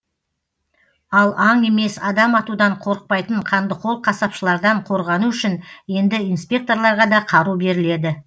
ал аң емес адам атудан қорықпайтын қандықол қасапшылардан қорғану үшін енді инспекторларға да қару беріледі